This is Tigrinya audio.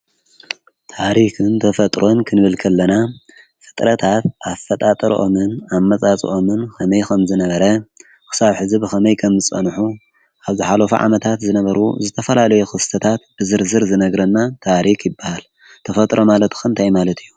ታሪክን ተፈጥሮን ክንብል ከለና ፍጥረታት ኣፈጣርኦምን ኣመፃፅኦምን ከመይ ከምዝነበረ ክስብ ሐዚ ብከመይ ከምዝፀንሑ ኣብ ዝሓለፉ ዓመታት ዝነበሩ ዝተፈላለዩ ክስተታት ብዝርዝር ዝነግረና ታሪክ ይበሃል ።ተፈጥሮ ማለትከ እንታይ ማለት እዩ።